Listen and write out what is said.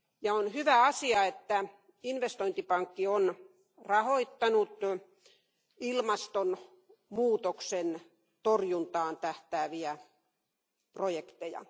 On hyvä asia, että investointipankki on rahoittanut ilmastonmuutoksen torjuntaan tähtääviä projekteja.